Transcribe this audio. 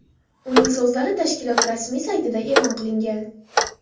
Uning so‘zlari tashkilot rasmiy saytida e’lon qilingan .